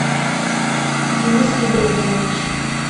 денис ибрагимович